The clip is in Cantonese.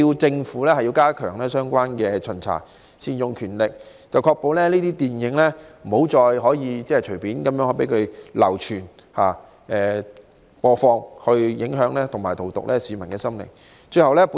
政府亦必須加強相關巡查，善用權力，確保這些電影不能再隨便流傳及播放，影響和荼毒市民的心靈。